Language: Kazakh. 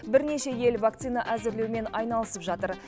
бірнеше ел вакцина әзірлеумен айналысып жатыр